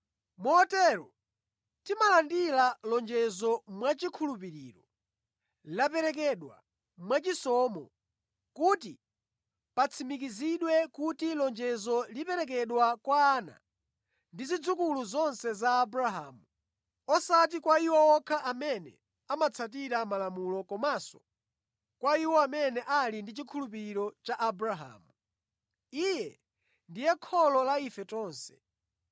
Motero, timalandira lonjezo mwachikhulupiriro. Laperekedwa mwachisomo kuti patsimikizidwe kuti lonjezolo liperekedwa kwa ana ndi zidzukulu zonse za Abrahamu, osati kwa iwo okha amene amatsatira Malamulo komanso kwa iwo amene ali ndi chikhulupiriro cha Abrahamu. Iye ndiye kholo la ife tonse.